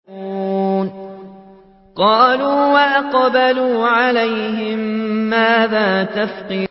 قَالُوا وَأَقْبَلُوا عَلَيْهِم مَّاذَا تَفْقِدُونَ